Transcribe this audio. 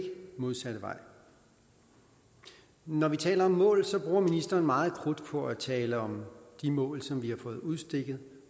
modsatte vej når vi taler om mål bruger ministeren meget krudt på at tale om de mål som vi har fået udstukket